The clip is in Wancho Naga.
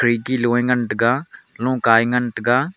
khirki loe ngan taiga lokae ngan taiga.